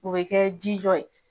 O be kɛ jijɔ ye.